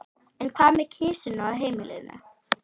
En hvað með kisuna á heimilinu?